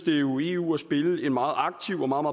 eu eu at spille en meget aktiv og meget